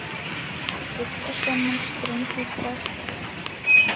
Stilla saman strengi hvað?